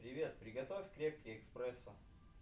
привет приготовь крепкий эспрессо